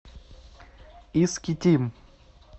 искитим